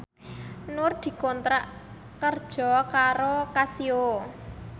Nur dikontrak kerja karo Casio